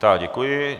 Tak děkuji.